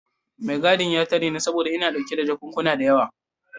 Mai gadin ya tare ni saboda ina dauke da jakunkuna da yawa.